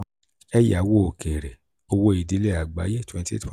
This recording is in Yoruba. eyawo òkèèrè/owó-ìdílé àgbáyé: twenty-eight